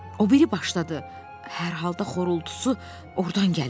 O biri başda da hər halda xorultusu ordan gəlir.